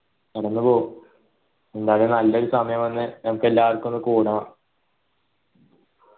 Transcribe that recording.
കടന്നുപോകും നല്ലൊരു സമയം വന്ന് നമ്മക്ക് എല്ലാര്ക്കും ഒന്ന് കൂടണം